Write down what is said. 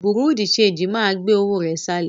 Bùrúdì ṣẹegì máa gbé owó rẹ̀ sálọ.